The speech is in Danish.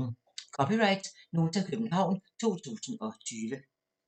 (c) Nota, København 2020